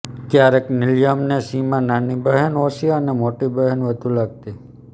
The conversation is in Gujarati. ક્યારેક નિલયને સીમા નાની બહેન ઓછી અને મોટી બહેન વધુ લાગતી